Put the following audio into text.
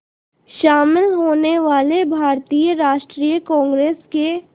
शामिल होने वाले भारतीय राष्ट्रीय कांग्रेस के